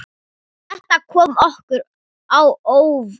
Þetta kom okkur á óvart.